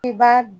I b'a